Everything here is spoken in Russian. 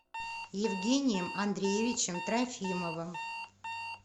евгением андреевичем трофимовым